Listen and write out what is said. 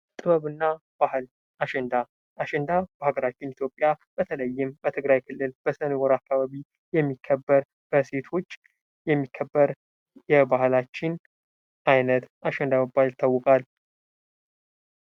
ጥበብና ባህል አሸንዳ፤ አሸንዳ በሀገራችን ኢትዮጵያ በተለይም በትግራይ ክልል ነቦር አካባቢ የሚከበር በሴቶች የሚከበር የባህላችን አይነት አሸንዳ በመባል ይታወቃል።